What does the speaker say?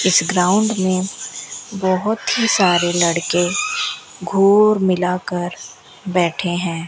इस ग्राउंड में बहोत ही सारे लड़के घोर मिलकर बैठे हैं।